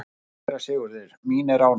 SÉRA SIGURÐUR: Mín er ánægjan.